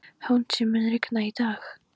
Húndís, mun rigna í dag?